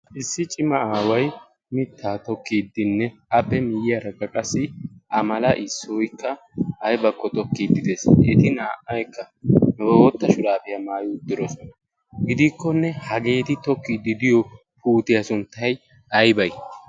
issi cima aawai mittaa tokkiiddinne appe miyyiyaara ga qassi a mala issoykka aybakko tokkiidi dees eti naa''aykka boootta shuraafiyaa maayi uddirosona gidiikkonne hageeti tokkiid diyo puutiyaa sunttay aybay